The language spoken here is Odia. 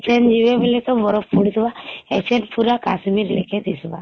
ଏଖେଂ ଯିବେ ବୋଲି ତ ବରଫ ପଡୁଥିବା ଏଖେଂ ପୁରା କାଶ୍ମୀର ଲେକେ ଦିଶବା